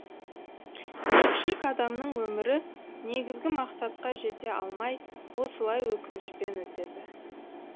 көпшілік адамның өмірі негізгі мақсатқа жете алмай осылай өкінішпен өтеді